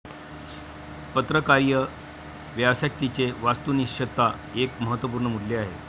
पत्रकारीय व्यावसायिकतेचे 'वास्तुनिश्तता एक महत्वपूर्ण मूल्य आहे.